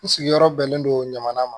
N sigiyɔrɔ bɛnnen don ɲamana ma